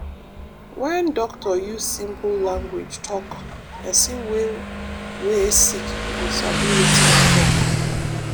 wen doctor use simple language talk pesin wey wey sick go sabi wetin e tok.